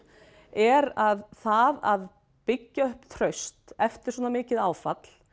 er að það að byggja upp traust eftir svona mikið áfall